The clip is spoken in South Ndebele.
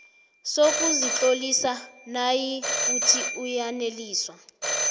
sokuzitlolisa nayikuthi uyaneliswa